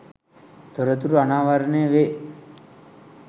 තොරතුරු අනාවරණය වේ